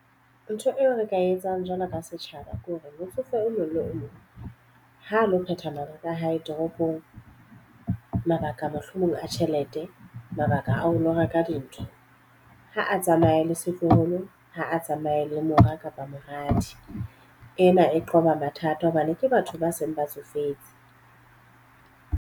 Ntho eo re ka etsang jwalo ka setjhaba ko re motsofe o mong le o mong ho lo phetha mabaka a hae toropong. Mabaka mohlomong a tjhelete, mabaka a ho lo ba ka dintho. Ha a tsamaye le setloholo, ha a tsamaye le mora kapa moradi. Ena e qoba mathata hobane ke batho ba seng ba tsofetse.